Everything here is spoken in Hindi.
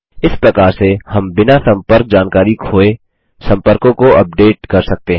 इस प्रकार से हम बिना सम्पर्क जानकरी खोये सम्पर्कों को अपडेट कर सकते हैं